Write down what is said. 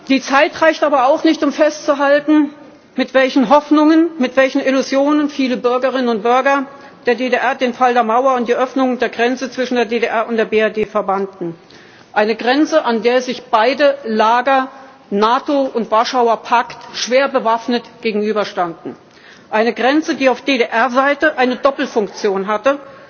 Die Zeit reicht aber auch nicht, um festzuhalten, mit welchen Hoffnungen und Illusionen viele Bürgerinnen und Bürger der DDR den Fall der Mauer und die Öffnung der Grenze zwischen der DDR und der BRD verbanden einer Grenze, an der sich beide Lager, NATO und Warschauer Pakt, schwer bewaffnet gegenüberstanden, einer Grenze, die auf DDR Seite eine Doppelfunktion